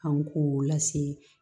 An k'o lase